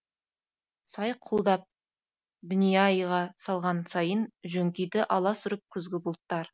сай құлдап дүния ай ға салған сайын жөңкиді аласұрып күзгі бұлттар